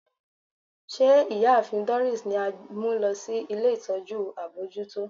Ṣe Iyaafin Doris ni a mu lọ si ile itọju abojuto?